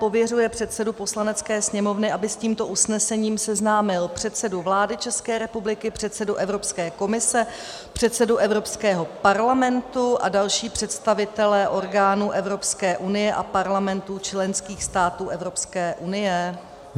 Pověřuje předsedu Poslanecké sněmovny, aby s tímto usnesením seznámil předsedu vlády České republiky, předsedu Evropské komise, předsedu Evropského parlamentu a další představitele orgánů Evropské unie a parlamentů členských států Evropské unie."